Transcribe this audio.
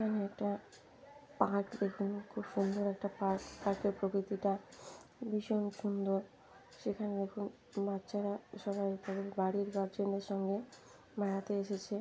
এখানে এটা পার্ক দেখুন খুবই সুন্দর একটা পার্ক । পার্ক -এর প্রকৃতিটা ভীষণ সুন্দর এখানে দেখুন বাচ্চারা সবাই বাড়ির গার্জেন -এর সঙ্গে বেড়াতে এসেছে।